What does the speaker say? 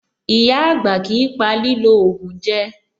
Ìyá-àgbà kìí pa lílò ògùn jẹ.